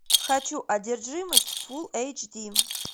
хочу одержимость фулл эйч ди